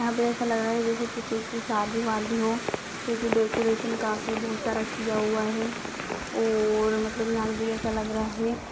यहां पर ऐसा लग रहा है जैसे कि किसी की शादी-वादी हो ]>क्योंकि डेकोरेशन काफी सारा किया हुआ है और मतलब यहां मुझे ऐसा लग रहा है।